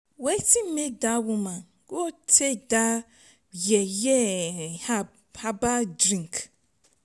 wetin make dat woman go take that yeye herbal drink